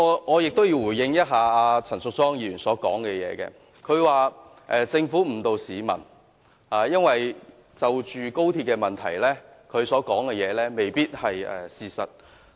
我亦要回應陳淑莊議員剛才的發言，她說政府誤導市民，但有關高鐵問題方面，她所說的未必是事實。